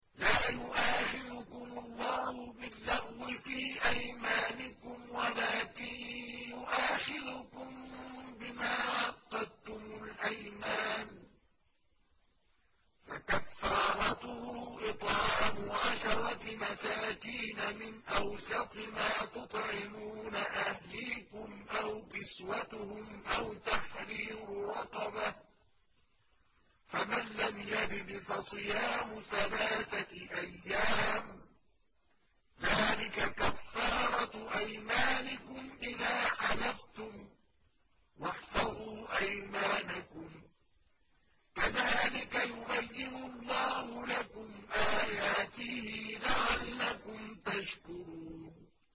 لَا يُؤَاخِذُكُمُ اللَّهُ بِاللَّغْوِ فِي أَيْمَانِكُمْ وَلَٰكِن يُؤَاخِذُكُم بِمَا عَقَّدتُّمُ الْأَيْمَانَ ۖ فَكَفَّارَتُهُ إِطْعَامُ عَشَرَةِ مَسَاكِينَ مِنْ أَوْسَطِ مَا تُطْعِمُونَ أَهْلِيكُمْ أَوْ كِسْوَتُهُمْ أَوْ تَحْرِيرُ رَقَبَةٍ ۖ فَمَن لَّمْ يَجِدْ فَصِيَامُ ثَلَاثَةِ أَيَّامٍ ۚ ذَٰلِكَ كَفَّارَةُ أَيْمَانِكُمْ إِذَا حَلَفْتُمْ ۚ وَاحْفَظُوا أَيْمَانَكُمْ ۚ كَذَٰلِكَ يُبَيِّنُ اللَّهُ لَكُمْ آيَاتِهِ لَعَلَّكُمْ تَشْكُرُونَ